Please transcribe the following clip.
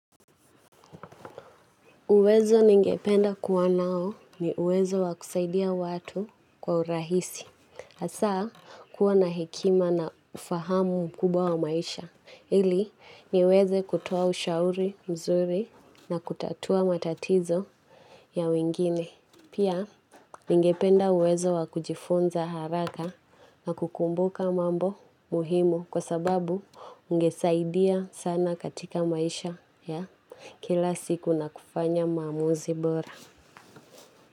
Uwezo ningependa kuwa nao ni uwezo wa kusaidia watu kwa urahisi. Asa, kuwa na hekima na ufahamu mkubwa wa maisha. Ili, niweze kutoa ushauri mzuri na kutatua matatizo ya wengine. Pia, ningependa uwezo wa kujifunza haraka na kukumbuka mambo muhimu kwa sababu ungesaidia sana katika maisha ya kila siku na kufanya maamuzi bora.